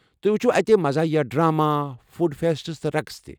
تُہۍ وُچھِو اتہِ مزاحیہ ڈراما، فوڈ فیسٹس تہٕ رقس تہِ ۔